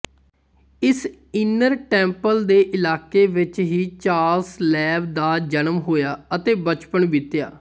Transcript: ਇਸ inner temple ਦੇ ਇਲਾਕੇ ਵਿੱਚ ਹੀ ਚਾਰਲਸ ਲੈਂਬ ਦਾ ਜਨਮ ਹੋਇਆ ਅਤੇ ਬਚਪਨ ਬੀਤਿਆ